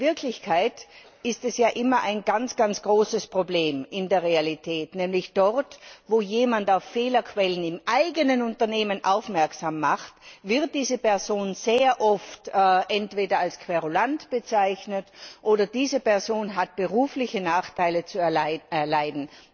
In der Realität ist es ja immer ein ganz großes Problem Nämlich dort, wo jemand auf Fehlerquellen im eigenen Unternehmen aufmerksam macht, wird diese Person sehr oft entweder als Querulant bezeichnet oder diese Person hat berufliche Nachteile zu erleiden.